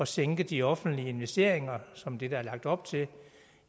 sænke de offentlige investeringer som er det der er lagt op til